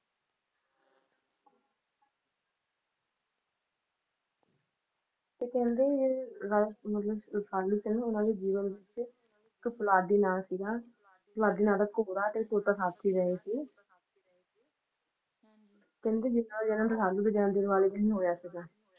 ਤੇ ਕਹਿੰਦੇ ਜਿਹੜੇ Raja ਮਤਲਬ Rasalu ਸੀ ਨਾ ਉਹਨਾਂ ਦੇ ਜੀਵਨ ਵਿੱਚ ਇਕ ਫੌਲਾਦੀ ਨਾਂ ਸੀਗਾ ਫੌਲਾਦੀ ਨਾਂ ਦਾ ਘੋੜਾ ਤੇ ਤੋਤਾ ਸਾਥੀ ਰਹੇ ਸੀ ਕਹਿੰਦੇ ਜਿੰਨਾ ਦਾ ਜਨਮ ਰਸਾਲੂ ਦੇ ਜਨਮ ਦਿਨ ਵਾਲੇ ਦਿਨ ਹੋਇਆ ਸੀਗਾ